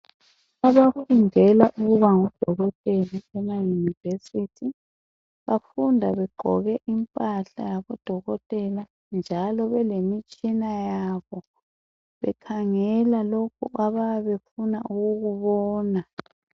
Abafundela ukuba ngodokotela emaYunivesithi bafunda begqoke impahla yabodokotela njalo belemitshina yabo bekhangela lokhu abayabe befuna ukukubona.